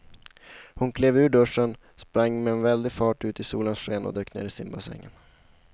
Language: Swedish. Hon klev ur duschen, sprang med väldig fart ut i solens sken och dök ner i simbassängen.